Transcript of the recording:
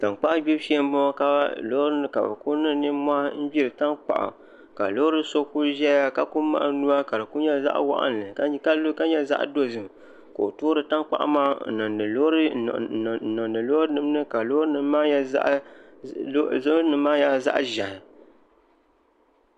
Tankpaɣu gbibu shee n boŋo ka bi ku niŋ nimmohi n gbiri tankpaɣu ka loori so ku ʒɛya ka ku ka di ku nyɛ zaɣ waɣanli ka nyɛ zaɣ dozim ka o toori tankpaɣu maa n niŋdi loori nim ni ka loori nim maa nyɛla zaɣ ʒiɛhi